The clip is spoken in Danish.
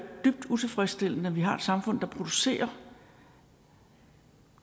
dybt utilfredsstillende at vi har et samfund der producerer